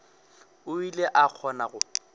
o ile a kgona go